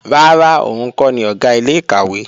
Rárá, òun kọ́ ni Ọ̀gá ilé-ìkàwé